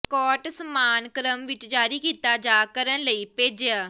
cart ਸਾਮਾਨ ਕ੍ਰਮ ਵਿੱਚ ਜਾਰੀ ਕੀਤਾ ਜਾ ਕਰਨ ਲਈ ਭੇਜਿਆ